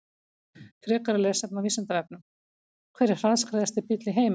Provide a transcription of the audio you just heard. Frekara lesefni á Vísindavefnum: Hver er hraðskreiðasti bíll í heimi?